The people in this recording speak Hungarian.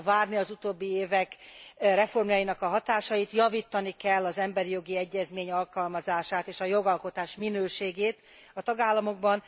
Meg kell várni az utóbbi évek reformjainak a hatásait, javítani kell az emberi jogi egyezmény alkalmazását és a jogalkotás minőségét a tagállamokban.